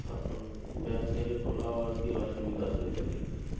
তো bank থেকে তোলাও আর কি অসুবিধা হয়ে যাবে